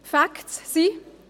Die Facts sind: